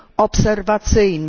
obserwacyjnej.